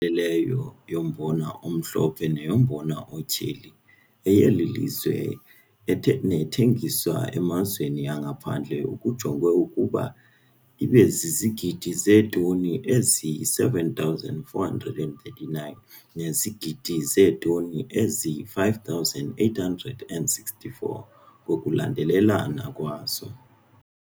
Ileyo yombona omhlophe neyombona otyheli, eyeli lizwe nethengiswa emazweni angaphandle kujongwe ukuba ibe zizigidi zeetoni eziyi-7,439 nezigidi zeetoni ezi-5,864 ngokulandelelana kwazo.